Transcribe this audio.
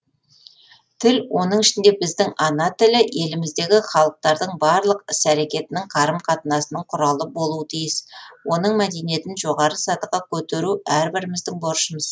тіл оның ішінде біздің ана тілі еліміздегі халықтардың барлық іс әрекетінің қарым қатынасының құралы болуы тиіс оның мәдениетін жоғары сатыға көтеру әрбіріміздің борышымыз